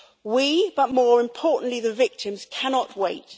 We but more importantly, the victims cannot wait.